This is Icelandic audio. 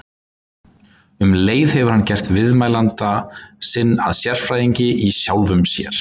Um leið hefur hann gert viðmælanda sinn að sérfræðingi- í sjálfum sér.